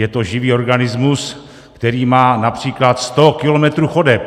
Je to živý organismus, který má například sto kilometrů chodeb.